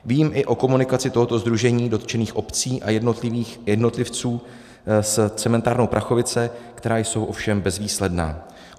Vím i o komunikaci tohoto sdružení dotčených obcí a jednotlivců s cementárnou Prachovice, která jsou ovšem bezvýsledná.